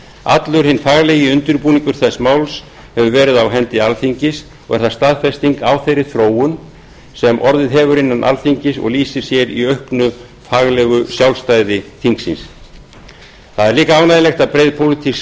allur hinn faglegi undirbúningur þess máls hefur verið á hendi alþingis og er það staðfesting á þeirri þróun sem orðið hefur innan alþingis og lýsir sér í auknu faglegu sjálfstæði þingsins það er líka ánægjulegt að breið pólitísk